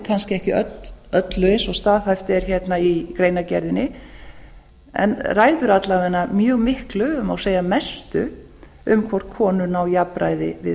kannski ekki öllu eins og staðhæft er í greinargerðeinni en ræður alla vega mjög miklu og má segja mestu um hvort konur ná jafnræði á við